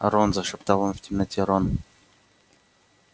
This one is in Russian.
рон зашептал он в темноте рон